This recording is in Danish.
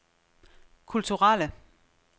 kulturelle